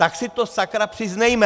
Tak si to sakra přiznejme.